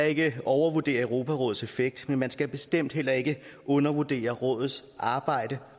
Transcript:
ikke overvurdere europarådets effekt men man skal bestemt heller ikke undervurdere rådets arbejde